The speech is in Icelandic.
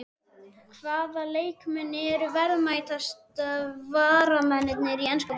Hvaða leikmenn eru verðmætustu varamennirnir í enska boltanum?